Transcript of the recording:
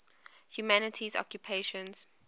humanities occupations